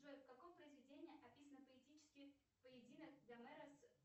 джой в каком произведении описан поэтический поединок гомера с